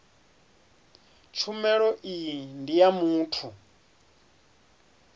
tshumelo iyi ndi ya muthu